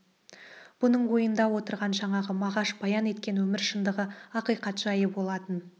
бұның ойында отырған жаңағы мағаш баян еткен өмір шыңдығы ақиқат жайы болатын